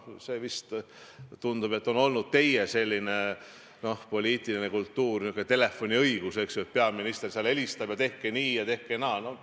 See, tundub, on olnud teie poliitiline kultuur, niisugune telefoniõigus, eks ju, et peaminister helistab, et tehke nii ja tehke naa.